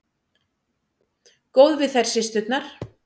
Góð við þær systurnar.